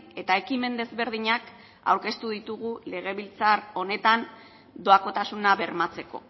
eta ekimen desberdinak aurkeztu ditugu legebiltzar honetan doakotasuna bermatzeko